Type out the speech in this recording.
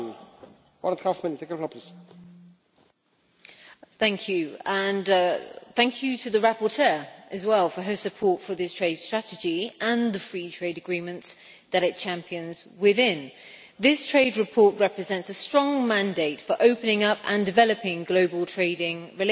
Mr President, I would like to thank the rapporteur as well for her support for this trade strategy and the free trade agreements that it champions within. This trade report represents a strong mandate for opening up and developing global trading relations.